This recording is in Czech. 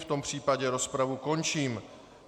V tom případě rozpravu končím.